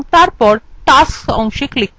view এবং তারপর tasks অংশে click করুন